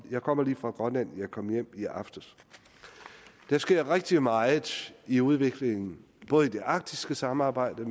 jeg kommer lige fra grønland jeg kom hjem i aftes der sker rigtig meget i udviklingen både i det arktiske samarbejde